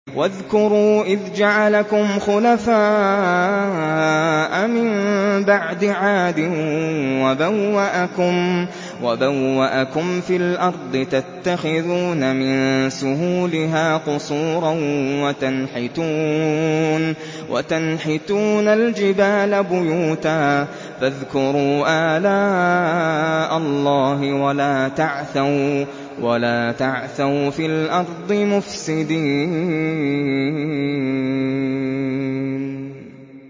وَاذْكُرُوا إِذْ جَعَلَكُمْ خُلَفَاءَ مِن بَعْدِ عَادٍ وَبَوَّأَكُمْ فِي الْأَرْضِ تَتَّخِذُونَ مِن سُهُولِهَا قُصُورًا وَتَنْحِتُونَ الْجِبَالَ بُيُوتًا ۖ فَاذْكُرُوا آلَاءَ اللَّهِ وَلَا تَعْثَوْا فِي الْأَرْضِ مُفْسِدِينَ